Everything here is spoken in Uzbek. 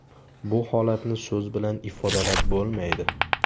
Bu holatni so‘z bilan ifodalab bo‘lmaydi.